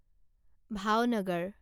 Bhavnagar